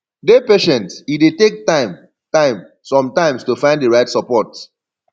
dey patient e dey take time time sometimes to find di right support